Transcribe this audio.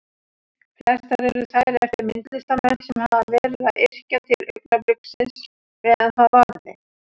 Flestar eru þær eftir myndlistarmenn sem hafa verið að yrkja til augnabliksins meðan það varði.